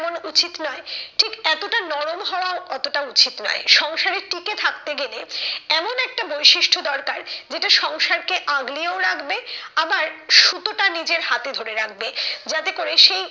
যেমন উচিত নয়, ঠিক এতটা নরম হওয়াও অতটা উচিত নয়। সংসারে টিকে থাকতে গেলে এমন একটা বৈশিষ্ট্য দরকার যেটা সংসারকে আগলিয়েও রাখবে আবার সুতোটা নিজের হাতে ধরে রাখবে যাতে করে সেই,